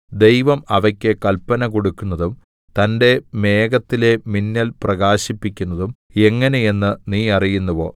ദൈവം അവയ്ക്ക് കല്പന കൊടുക്കുന്നതും തന്റെ മേഘത്തിലെ മിന്നൽ പ്രകാശിപ്പിക്കുന്നതും എങ്ങനെ എന്ന് നീ അറിയുന്നുവോ